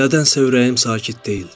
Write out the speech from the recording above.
Nədənsə ürəyim sakit deyildi.